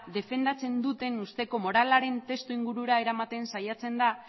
defendatzen duten ustezko moralaren testuingurura eramaten saiatzen da